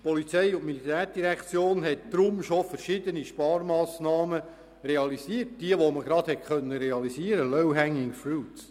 Die POM hat deshalb bereits verschiedene Sparmassnahmen realisiert und zwar diejenigen, die man gerade realisieren konnte, «low hanging fruits».